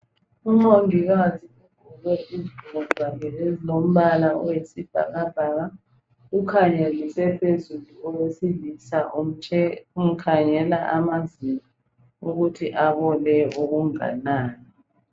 Umongikazi ugqoke izigqoko zakhe ezilombala oyisibhakabhaka ukhangelise phezulu owesilisa umkhangela amazinyo ukuthi abole okunganani.